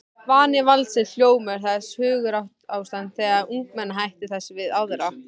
Vani valdsins, hljómur þess, hugarástand þess, umgengnishættir þess við aðra.